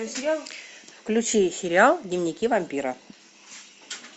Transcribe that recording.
включи сериал дневники вампира